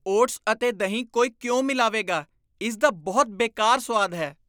Oats ਅਤੇ ਦਹੀਂ ਕੋਈ ਕਿਉਂ ਮਿਲਾਵੇਗਾ? ਇਸ ਦਾ ਬਹੁਤ ਬੇਕਾਰ ਸੁਆਦ ਹੈ।